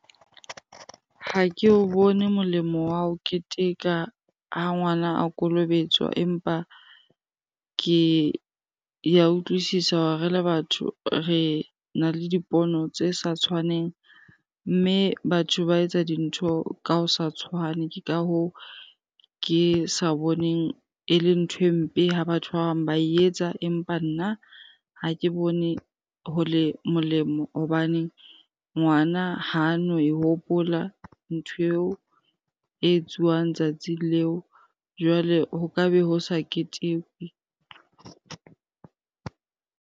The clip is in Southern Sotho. Ha ke o bone molemo wa ho keteka ha ngwana a kolobetswa empa ke ya utlwisisa, re le batho re na le dipono tse sa tshwaneng mme batho ba etsa dintho ka ho sa tshwane. Ke ka hoo, ke sa boneng e le nthwe mpe ha batho ba bang ba e etsa, empa nna ha ke bone ho le molemo hobaneng ngwana hano e hopola ntho eo e etsuwang tsatsing leo. Jwale ho ka be ho sa ketekwe.